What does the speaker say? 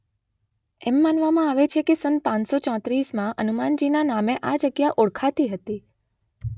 એમ માનવામાં આવે છે કે સન પાંચ સો ચોત્રીસમાં અનુમાનજીના નામે આ જગ્યા ઓળખાતી હતી